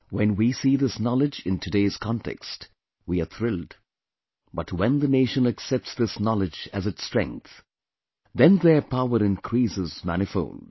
When we see this knowledge in today's context, we are thrilled, but when the nation accepts this knowledge as its strength, then their power increases manifold